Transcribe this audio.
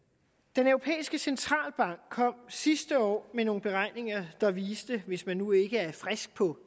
den europæiske centralbank kom sidste år med nogle beregninger der viste hvis man nu ikke er frisk på